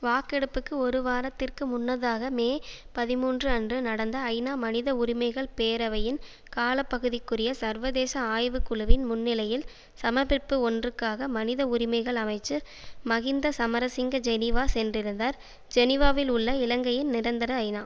வாக்கெடுப்புக்கு ஒரு வாரத்திற்கு முன்னதாக மே பதிமூன்று அன்று நடந்த ஐநா மனித உரிமைகள் பேரவையின் காலப்பகுதிக்குரிய சர்வதேச ஆய்வு குழுவின் முன்நிலையில் சமர்ப்பிப்பு ஒன்றுக்காக மனித உரிமைகள் அமைச்சர் மஹிந்த சமரசிங்க ஜெனீவா சென்றிருந்தார் ஜெனீவாவில் உள்ள இலங்கையின் நிரந்தர ஐநா